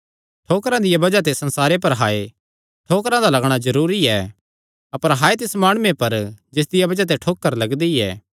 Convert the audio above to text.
ठोकरां दियां बज़ाह ते संसारे पर हाय ठोकरां दा लगणा जरूरी ऐ अपर हाय तिस माणुये पर जिसदिया बज़ाह ते ठोकर लगदी ऐ